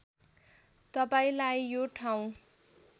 तपाईँलाई यो ठाउँ